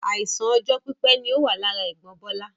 Àìsàn ọjọ́ pípé ni ó wà lára ẹ̀gbọ́n Bola